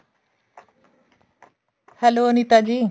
hello Anita ਜੀ